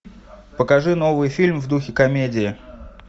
покажи новый фильм в духе комедии